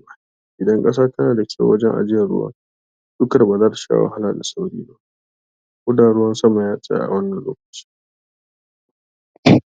cika tsarin tsarin garkuwar jiki. Gaskiya ita ce; tsarin garkuawar jiki yana iya sarrafa dukkan ƙwayoyin cuta a lokaci guda. yawan ƙwayoyin cuta a cikin allurar rigakafi, yana ƙasa sosai fiye da abinda yara ke haɗuwa dashi a kullum daga abinci. Ƙwayoyin cuta da sauran abubuwa a muhallin su.